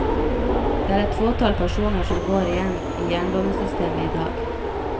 Det er et fåtall personer som går igjen i jernbanesystemet i dag.